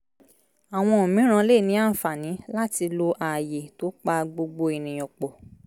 àwọn mìíràn lè ní ànfààní láti lo ààyè tó pa gbogbo ènìyàn pọ̀